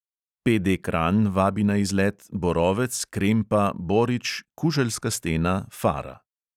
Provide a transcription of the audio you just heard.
PD kranj vabi na izlet borovec-krempa-borič-kuželjska stena-fara.